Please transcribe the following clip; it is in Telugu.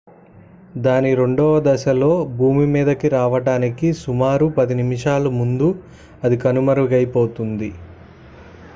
దాని రెండవ దశలో భూమి మీదకి రావడానికి సుమారు 10 నిమిషాల ముందు అది కనుమరుగైపోయింది